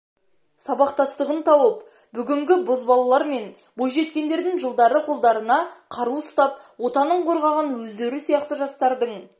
сабақтастығын тауып бүгінгі бозбалалар мен бойжеткендердің жылдары қолдарына қару ұстап отанын қорғаған өздері сияқты жастардың